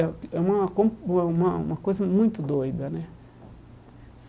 é uma é uma uma coisa muito doida, né?